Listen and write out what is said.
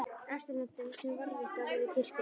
Austurlöndum sem varðveittar voru í kirkjunni.